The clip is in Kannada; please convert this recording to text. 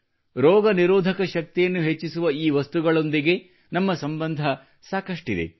ರೋಗನಿರೋಧಕ ಶಕ್ತಿಯನ್ನು ಹೆಚ್ಚಿಸುವ ಈ ವಸ್ತುಗಳೊಂದಿಗೆ ನಮ್ಮ ಸಂಬಂಧ ಸಾಕಷ್ಟಿದೆ